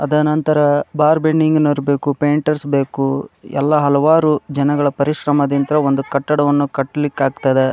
ಅದ ನಂತರ bar bending ನೌರ್ ಬೇಕು ಪೈಂಟ್ರ್ಸ್ ಬೇಕು ಎಲ್ಲಾ ಹಲವಾರು ಜನಗಳ ಪರಿಶ್ರಮದಿಂದ ಒಂದು ಕಟ್ಟಡವನ್ನು ಕಟ್ಲಿಕ್ ಆಗ್ತದ .